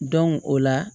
o la